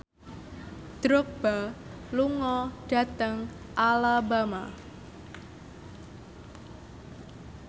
Drogba lunga dhateng Alabama